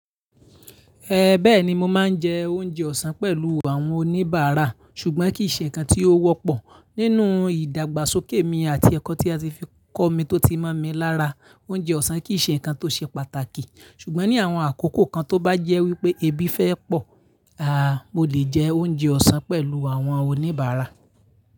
Ẹ bẹ́ẹ̀ni mo máa ń jẹ oúnjẹ ọ̀sán pẹ̀lú àwọn oníbàárà, ṣùgbọ́n kì í ṣe ǹkan tí ó wọ́pọ̀ nínú ìdàgbàsókè mi àti ẹ̀kọ́ tí a ti fi kọ́ mi tó ti mọ̀ mí lára. Oúnjẹ ọ̀sán kì í ṣe ǹkan tó ṣe pàtàkì, ṣùgbọ́n ní àwọn àkókò kan tó bá jẹ́ wípé ebi fẹ́ pọ̀, aà, mo lè jẹ oúnjẹ ọ̀sán pẹ̀lú àwọn oníbàárà.